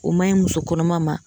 O man ɲi muso kɔnɔma ma.